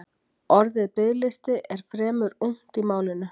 Orðið biðlisti er fremur ungt í málinu.